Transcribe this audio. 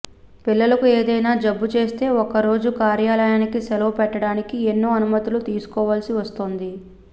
పిల్లలకు ఏదైనా జబ్బుచేస్తే ఒక్కరోజు కార్యాలయానికి సెలవు పెట్టడానికి ఎన్నో అనుమతులు తీసుకోవాల్సి వస్తోంది